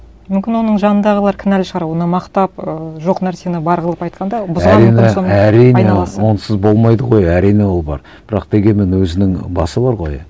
мүмкін оның жанындағылар кінәлі шығар оны мақтап ыыы жоқ нәрсені бар қылып айтқанда олсыз болмайды ғой әрине ол бар бірақ дегенмен өзінің басы бар ғой